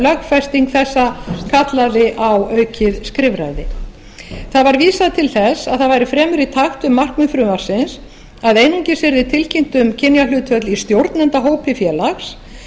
lögfesting þessa kallaði á aukið skrifræði var vísað til þess að það væri fremur í takt við markmið frumvarpsins að einungis yrði tilkynnt um kynjahlutföll í stjórnendahópi félags